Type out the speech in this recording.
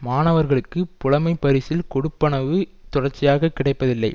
மாணவர்களுக்கு புலமைப்பரிசில் கொடுப்பனவு தொடர்ச்சியாக கிடைப்பதில்லை